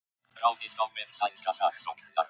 Ráðist á vef sænska saksóknarans